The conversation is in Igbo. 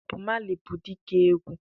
Bob Marley bụ dike egwu.